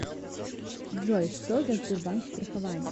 джой что за сбербанк страхование